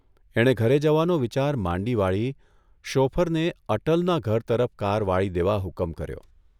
એણે ઘરે જવાનો વિચાર માંડી વાળી શોફરને અટલના ઘર તરફ કાર વાળી દેવા હુકમ કર્યો.